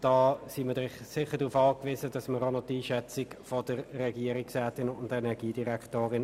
Hier sind wir auf die Einschätzung der Regierungsrätin angewiesen.